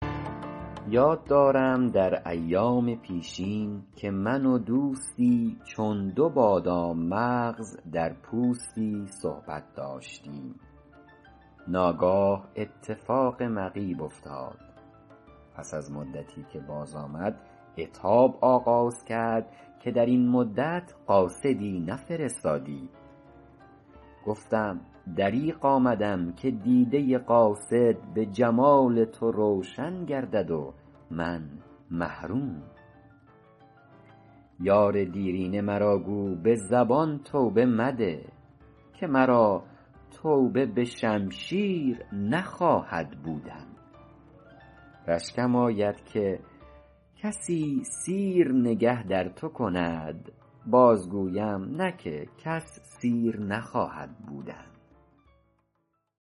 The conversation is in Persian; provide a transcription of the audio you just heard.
یاد دارم در ایام پیشین که من و دوستی چون دو بادام مغز در پوستی صحبت داشتیم ناگاه اتفاق مغیب افتاد پس از مدتی که باز آمد عتاب آغاز کرد که در این مدت قاصدی نفرستادی گفتم دریغ آمدم که دیده قاصد به جمال تو روشن گردد و من محروم یار دیرینه مرا گو به زبان توبه مده که مرا توبه به شمشیر نخواهد بودن رشکم آید که کسی سیر نگه در تو کند باز گویم نه که کس سیر نخواهد بودن